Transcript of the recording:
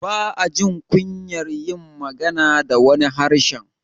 ba ajin kunyar yin magana da wani harshen